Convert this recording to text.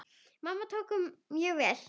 Mamma tók honum mjög vel.